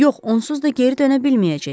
Yox, onsuz da geri dönə bilməyəcək.